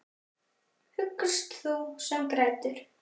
Huggast þú sem grætur.